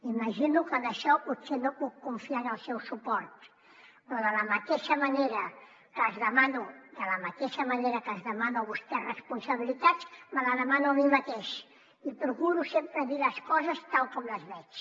imagino que en això potser no puc confiar en el seu suport però de la mateixa manera que els demano a vostès responsabilitats me la demano a mi mateix i procuro sempre dir les coses tal com les veig